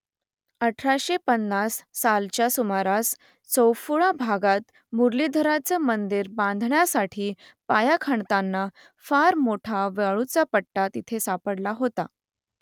अठराशे पन्नास सालच्या सुमारास चौफुळा भागात मुरलीधराचं मंदिर बांधण्यासाठी पाया खणताना फार मोठा वाळूचा पट्टा तिथे सापडला होता